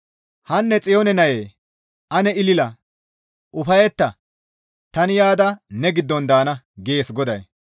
«Hanne Xiyoone nayee ane ilila; ufayetta; tani yaada ne giddon daana» gees GODAY.